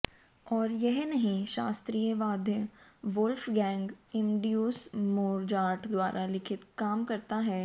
और यह नहीं शास्त्रीय वाद्य वोल्फगैंग एमॅड्यूस मोजार्ट द्वारा लिखित काम करता है